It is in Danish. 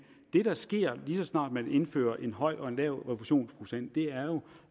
det der sker lige så snart man indfører en høj og en lav refusionsprocent er jo